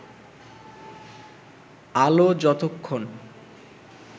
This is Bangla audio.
আলো যতক্ষণ